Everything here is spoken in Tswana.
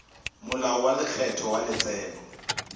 molao wa lekgetho wa letseno